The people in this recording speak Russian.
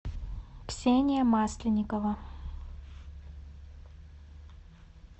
ксения масленникова